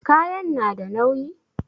Kayan na da nauyi?